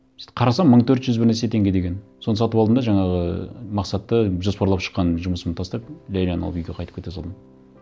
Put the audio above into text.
сөйтіп қарасам мың төрт жүз бір нәрсе теңге деген соны сатып алдым да жаңағы мақсатты жоспарлап шыққан жұмысымды тастап ләйләні алып үйге қайтып кете салдым